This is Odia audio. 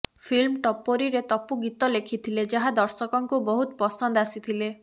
ଫିଲ୍ମ ଟପୋରିରେ ତପୁ ଗୀତ ଲେଖିଥିଲେ ଯାହା ଦର୍ଶକଙ୍କୁ ବହୁତ ପସନ୍ଦ ଆସିଥିଲେ